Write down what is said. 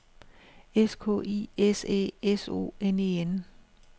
S K I S Æ S O N E N